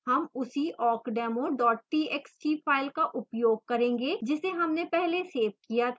हम उसी awkdemo txt file का उपयोग करेंगे जिसे हमने पहले सेव किया था